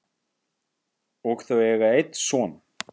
og eiga þau einn son.